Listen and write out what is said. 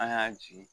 An y'a jigin